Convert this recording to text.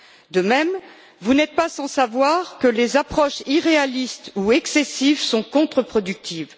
De même, vous n'êtes pas sans savoir que les approches irréalistes ou excessives sont contreproductives.